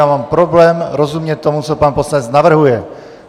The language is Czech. Já mám problém rozumět tomu, co pan poslanec navrhuje!